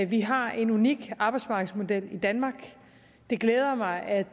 vi har en unik arbejdsmarkedsmodel i danmark det glæder mig at